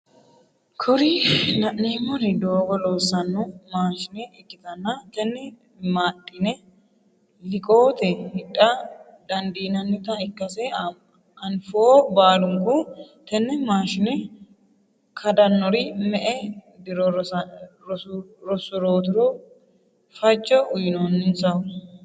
Kuri la'neemori doogo loossanno maashine ikkitanna tenne maadhine liqoote hidha dandiinannita ikkase anfoo baalunku tene maashine kadannori me"e diro rosurooti fajjo uyiinannisahu.